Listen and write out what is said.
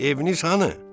Evin isə hanı?